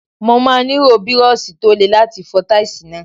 Mo máa nílò Bírọ́ọ̀ṣì tó le láti fọ táìsì náà.